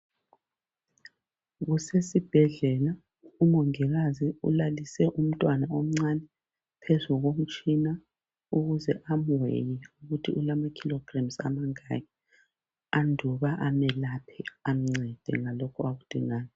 Kusesibhedlela umongikazi ulalise umntwana omncane phezu komtshina ukuze amuweye ukuthi ulama "kilograms" amangaki, anduba amelaphe amncede ngalokho akudingayo.